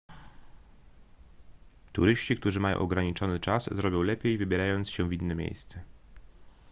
turyści którzy mają ograniczony czas zrobią lepiej wybierając się w inne miejsce